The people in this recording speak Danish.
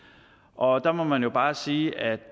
og der må man jo bare sige at